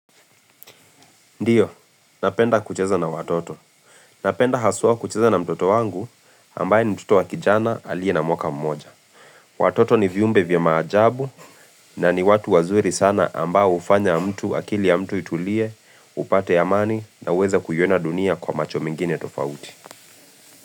Ndiyo, napenda kucheza na watoto. Napenda haswa kucheza na mtoto wangu ambaye ni mtoto wa kijana alie na mwaka mmoja. Watoto ni viumbe vya maajabu na ni watu wazuri sana ambao hufanya mtu akili ya mtu itulie, upate amani na uweze kuiona dunia kwa macho mengine tofauti.